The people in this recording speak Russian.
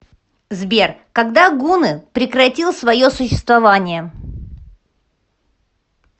сбер когда гунны прекратил свое существование